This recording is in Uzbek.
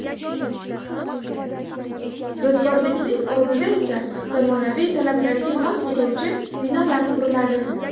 Yodgorlikning o‘rnida esa zamonaviy talablarga mos keluvchi binolar quriladi.